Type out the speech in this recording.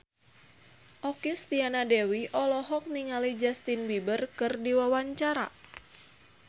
Okky Setiana Dewi olohok ningali Justin Beiber keur diwawancara